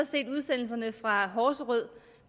set udsendelserne fra horserød